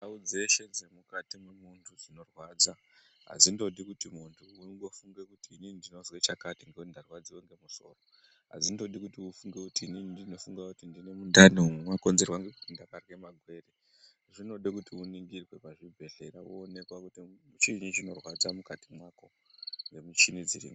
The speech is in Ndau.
Ndau dzeshe dziri mukati mwemunthu dzinorwadza adzindodi kuti munthu undofunge kuti inini ndinozwe chakati ngekuti ndarwadziwa ngemusoro adzindodi kuti ufunge kuti inini ndini ndinofunga kuti ndine mundani umwu makonzerwa ngekuti ndakarya magwere zvinode kuti uningirwe pazvibhedhlera woonekwa kuti chiini chinorwadza mukati mwako ngemuchini dziriyo.